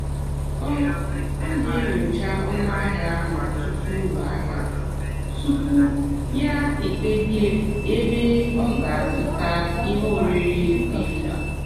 ọ́ ọ́ nà-ènyócha ónú àhịá n'ótùtu ụ́lọ àhịá túpú yá èkpèbíè ébé ọ́ gà-àzụ́tá íhé órírì dì mkpá.